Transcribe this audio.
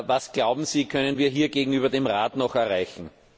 Was, glauben Sie, können wir hier gegenüber dem Rat noch erreichen?